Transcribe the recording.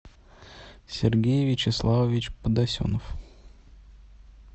сергей вячеславович подосенов